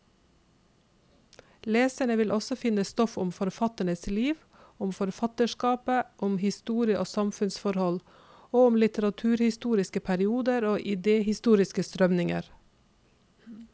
Leserne vil også finne stoff om forfatternes liv, om forfatterskapet, om historie og samfunnsforhold, og om litteraturhistoriske perioder og idehistoriske strømninger.